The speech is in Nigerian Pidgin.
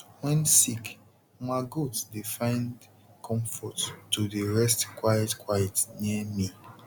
wen sick ma goat dey find comfort to dey rest quiet quiet near me